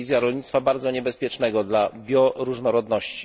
To jest wizja rolnictwa bardzo niebezpiecznego dla bioróżnorodności.